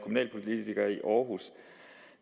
men